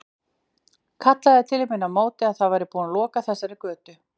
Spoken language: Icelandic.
Kallaði til mín á móti að það væri búið að loka þessari götu.